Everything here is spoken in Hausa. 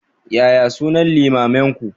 Yaya sunan limaminku?